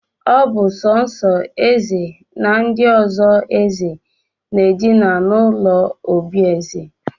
Ọ bụ sọọsọ eze na ndị ọsọ eze na-edina n'ụlọ obi eze